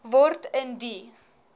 word in die